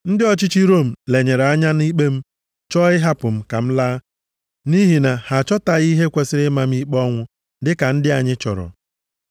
Ndị ọchịchị Rom lenyere anya nʼikpe m chọọ ịhapụ m ka m laa nʼihi na ha achọtaghị ihe kwesiri ịma m ikpe ọnwụ dịka ndị anyị chọrọ.